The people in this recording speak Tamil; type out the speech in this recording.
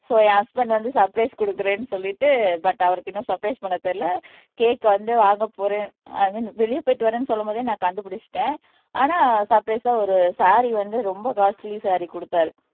சோ என் ஹஸ்பண்ட் வந்து சர்ப்ரைஸ் குடுக்கறேன்னு சொல்லிட்டு பட் அவருக்கு இன்னும் சர்ப்ரைஸ் பண்ண தெரியலே கேக் வந்து வாங்க போறேன் ஐ மீன் வெளிய போயிட்டு வர்றேன்னு சொல்லும் போதே நான் கண்டுபிடிச்சுட்டேன் ஆனா சர்ப்ரைஸா ஒரு சாரி வந்து ரொம்ப காஸ்டலி சாரீ கொடுத்தார்